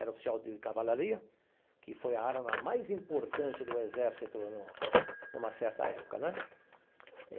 Era oficial de cavalaria, que foi a arma mais importante do exército no numa certa época né.